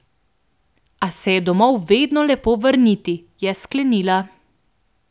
A se je domov vedno lepo vrniti, je sklenila.